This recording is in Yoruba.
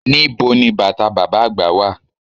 Nibo ni bàtà bàbá àgbà wà?